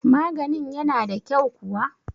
maganin yana da kyau kuwa?